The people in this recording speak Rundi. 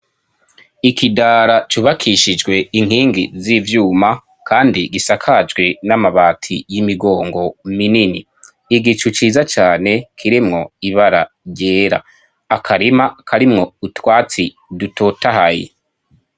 Ikidara cubakishijwe inkingi z'ivyuma, kandi gisakajwe n'amabati y'imigongo minini igicu ciza cane kiremwo ibara ryera akarima karimwo utwatsi dutotahaye.